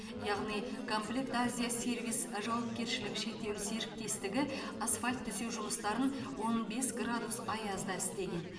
яғни комплект азия сервис жауапкершілігі шектеулі серіктестігі асфальт төсеу жұмыстарын он бес градус аязда істеген